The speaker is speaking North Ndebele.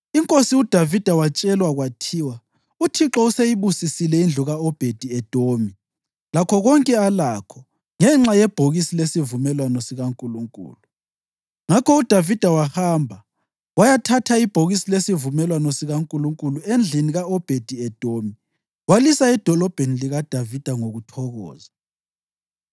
Inkosi uDavida watshelwa kwathiwa, “ UThixo useyibusisile indlu ka-Obhedi-Edomi lakho konke alakho ngenxa yebhokisi lesivumelwano sikaNkulunkulu.” Ngakho uDavida wahamba wayathatha ibhokisi lesivumelwano sikaNkulunkulu endlini ka-Obhedi-Edomi walisa eDolobheni likaDavida ngokuthokoza.